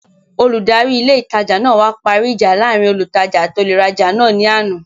Olùdarí ilé ìtajà náà wá parí ìjà láàrin olùtajà àti olùrajà náà ní àná